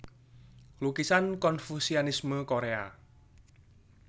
Lukisan Konfusianisme Korea